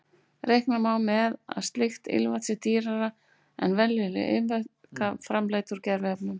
Reikna má með að slíkt ilmvatn sé dýrara en venjuleg ilmvötn framleidd úr gerviefnum.